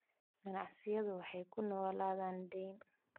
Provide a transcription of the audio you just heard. Ganacsiyadu waxay ku noolaadaan deyn.